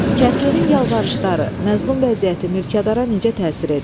Kəndlinin yalvarışları, məzlum vəziyyəti mülkədara necə təsir edir?